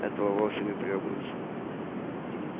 этого вовсе не требуется